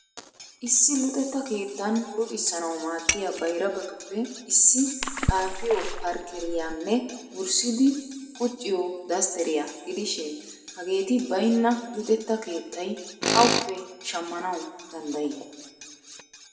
Issi luxetta keettan luxissanaw maaddiya bayrabatuppe issi xaafiyo parkkeriyanne wurssido qucciyo dastteriya gidishin hageeri baynna luxeta keettay awuppe shammanaw dandday?